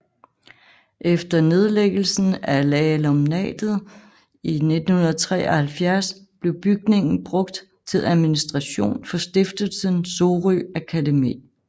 Efter nedlæggelen af alumnatet i 1973 blev bygningen brugt til administration for Stiftelsen Sorø Akademi